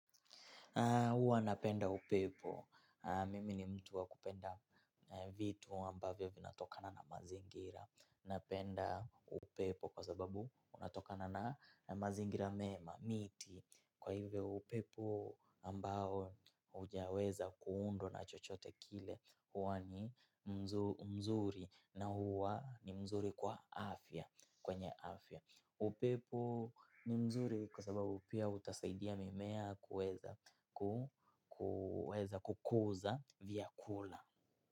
Huwa napenda upepo. Mimi ni mtu wa kupenda vitu ambavyo vinatokana na mazingira. Napenda upepo kwa sababu unatokana na mazingira mema, miti. Kwa hivyo upepo ambao haujaweza kuundwa na chochote kile. Huwa ni mzuri na huwa ni mzuri kwa afya. Kwenye afya. Upepo ni mzuri kwa sababu pia utasaidia mimea kuweza kukuza vyakula.